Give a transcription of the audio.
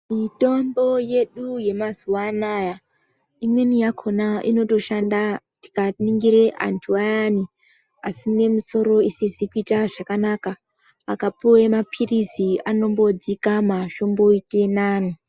Mitombo yedu ye mazuva anaya imweni yakona inotoshanda tika ningire antu ayani asine musoro isizi kuita zvakanaka akapuwe mapirizi anombo dzikama zvomboite nane.